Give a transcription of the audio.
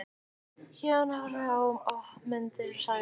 Héðinn horfði á hann opinmynntur og sagði